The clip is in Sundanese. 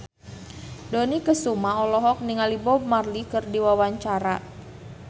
Dony Kesuma olohok ningali Bob Marley keur diwawancara